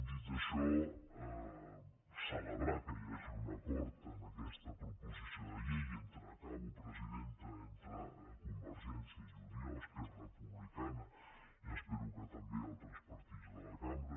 dit això celebrar que hi hagi un acord en aquesta proposició de llei i acabo presidenta entre convergència i unió esquerra republicana i espero que també altres partits de la cambra